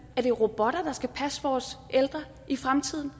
at det er robotter der skal passe vores ældre i fremtiden